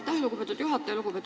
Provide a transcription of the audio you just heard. Aitäh, lugupeetud juhataja!